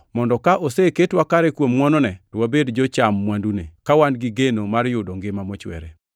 mondo ka oseketwa kare kuom ngʼwonone to wabed jocham mwandune, ka wan gi geno mar yudo ngima mochwere.